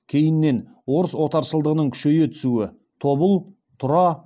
кейіннен орыс отаршылдығының күшейе түсуі тобыл тұра